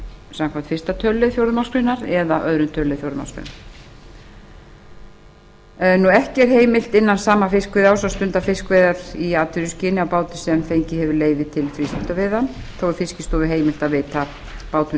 samkvæmt fyrsta tölulið fjórðu málsgreinar eða öðrum tölulið fjórðu málsgreinar ekki er heimilt innan sama fiskveiðiárs að stunda fiskveiðar í atvinnuskyni á báti sem fengið hefur leyfi til frístundaveiða þó er fiskistofu heimilt að veita bátum